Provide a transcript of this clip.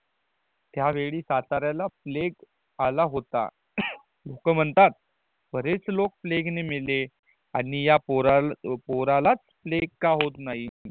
त्या वेळी साताऱ्याला प्लैग आला होता लोक म्हणतात बरेच लोक प्लैग ने मेले आणि या पोरं पोरालाच प्लैग का होत नहीं